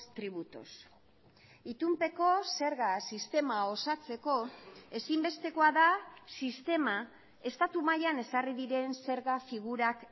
tributos itunpeko zerga sistema osatzeko ezinbestekoa da sistema estatu mailan ezarri diren zerga figurak